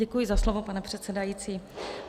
Děkuji za slovo, pane předsedající.